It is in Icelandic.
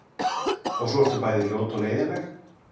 Og svo ertu bæði ljót og leiðinleg.